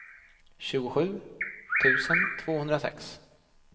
tjugosju tusen tvåhundrasex